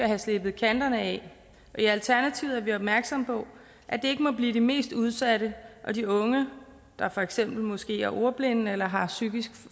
have slebet kanterne af og i alternativet er vi opmærksomme på at det ikke må blive de mest udsatte de unge der for eksempel måske er ordblinde eller har psykiske